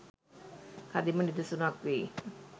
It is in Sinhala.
කදිම නිදසුනක් වෙයි